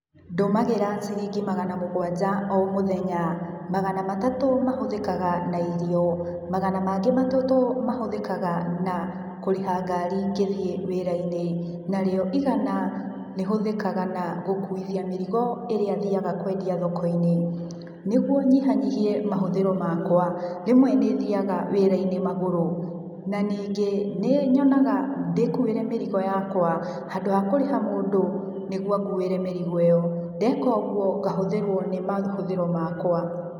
Ndũmagĩra ciringi magana mũgwanja o Mũthenya magana matatũ mahũthikaga na irio, magana mangĩ matatu mahũthĩkaga na kũrĩha ngari ngĩthiĩ wĩra-inĩ narĩo igana rĩhũthĩkaga na gũkuithia mĩrigo ĩrĩa thiaga kwendia thokoinĩ. Nĩguo nyihanyihie mahũthĩro makwa rĩmwe nĩthiaga wĩraĩnĩ magũrũ na ningĩ nĩnyonaga ndĩkuĩre mĩrigo yakwa handũ wa kũrĩha mũndũ nĩguo anguire mĩrigo ĩyo ndeka ũguo ngahũthĩrwo ni mahũthĩro makwa.